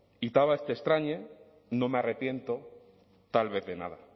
y tal vez te extrañe no me arrepiento tal vez de nada